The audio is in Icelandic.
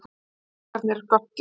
Vá. krakkarnir göptu.